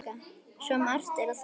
Svo margt er að þakka.